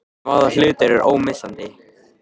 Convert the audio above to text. Hvaða hlutur er ómissandi?